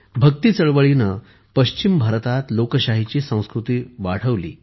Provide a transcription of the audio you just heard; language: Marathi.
भक्ती चळवळीने पश्चिम भारतात लोकशाहीची संस्कृती वाढवली